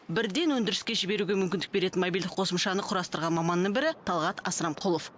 бірден өндіріске жіберуге мүмкіндік беретін мобильдік қосымшаны құрастырған маманның бірі талғат асрамқұлов